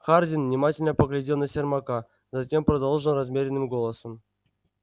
хардин внимательно поглядел на сермака затем продолжил размеренным голосом